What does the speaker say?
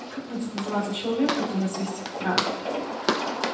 как будет называется человек который свистит в транспорте